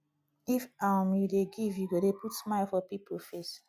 if um you dey give you go dey put smile for pipo face